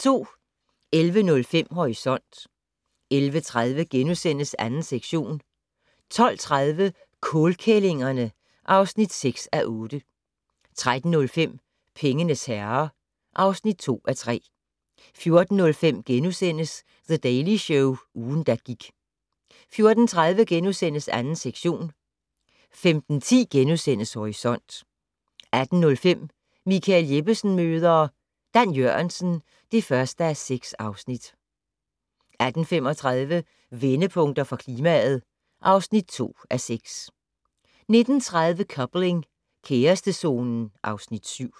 11:05: Horisont 11:30: 2. sektion * 12:30: Kålkællingerne (6:8) 13:05: Pengenes herrer (2:3) 14:05: The Daily Show - ugen, der gik * 14:30: 2. sektion * 15:10: Horisont * 18:05: Michael Jeppesen møder ... Dan Jørgensen (1:6) 18:35: Vendepunkter for klimaet (2:6) 19:30: Coupling - kærestezonen (Afs. 7)